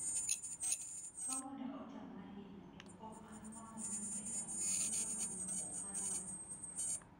" Somo ne nochama ahinya to pok anuang'o mich e chandruok duto maneokaloe,"